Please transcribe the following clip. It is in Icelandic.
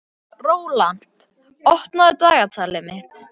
Rólant, opnaðu dagatalið mitt.